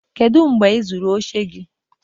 kedu mgbe ị zụrụ oche gị?